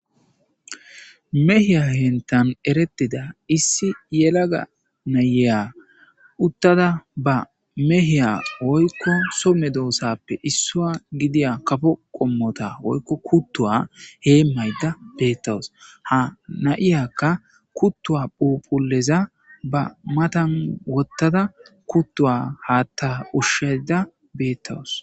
mehiya hentan eretida issi yelaga nayeya uttada ba meheya oykko somme doosappe issua gidiya kafo qommota oykko kuttuwa hee maydda beettawus ha nayiyakka kuttuwa phupuleza ba matan wottada kuttuwa haatta ushsheda beettawus